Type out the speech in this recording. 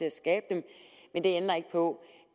at skabe dem men det ændrer ikke på